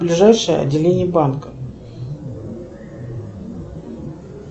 ближайшее отделение банка